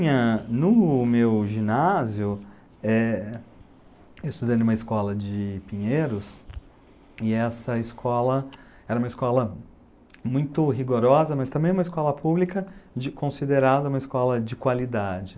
No meu ginásio, eu estudei em uma escola de Pinheiros, e essa escola era uma escola muito rigorosa, mas também uma escola pública considerada uma escola de qualidade.